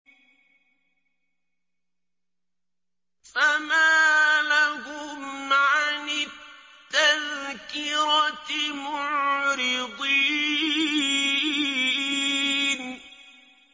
فَمَا لَهُمْ عَنِ التَّذْكِرَةِ مُعْرِضِينَ